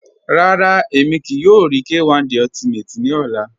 Rárá, ẹ̀mi kíí yòò rí K1 De Ultimate ni ọ̀là